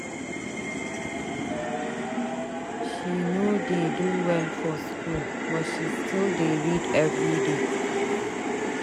She no dey do well for skool but she still dey read everyday.